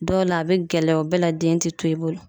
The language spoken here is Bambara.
Dɔw la a be gɛlɛya o bɛɛ la den te to e bolo